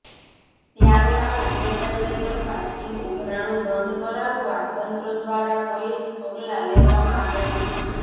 ત્યારે આવું ગેરકાયદેસર પાર્કિંગ ઉઘરાણું બંધ કરાવવા તંત્ર દ્વારા કોઇ જ પગલાં લેવામાં આવ્યા નથી